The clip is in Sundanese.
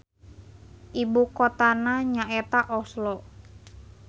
Ibu kotana nya eta Oslo.